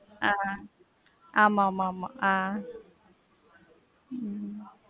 ஆஹ் ஆமா ஆமா ஆமா ஆஹ் உம்